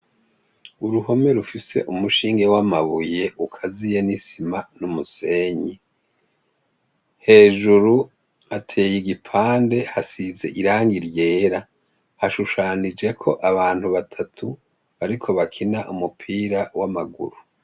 Uruhome rufise umushinge w'amabuye ukaziye n'isima n'umusenyi. Hejuru hateye igipande hasize irangi ryera. Hashushanijeko abantu batatu bariko bakina umupira w'amaguru.